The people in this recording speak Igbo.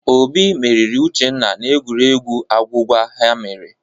Obi meriri Uchenna n'egwuregwu agwụgwa ha mere.